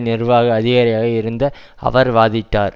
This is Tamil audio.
நிர்வாக அதிகாரியாக இருந்த அவர் வாதிட்டார்